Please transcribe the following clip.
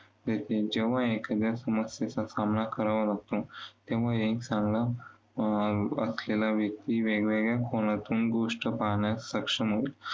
मिळते. जेव्हा एखाद्या समस्येचा सामना करावा लागतो, तेव्हा एक चांगला अं वाचलेला व्यक्ती वेगवेगळ्या कोनातून गोष्ट पाहण्यास सक्षम